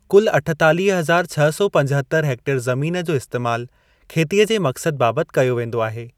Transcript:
कुल अठतालीह हज़ार छह सौ पंजहत्तर हेक्टेयर ज़मीन जो इस्तैमालु खेतीअ जे मक़सदु बाबति कयो वेंदो आहे।